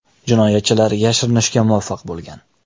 Jinoyatchilar yashirinishga muvaffaq bo‘lgan.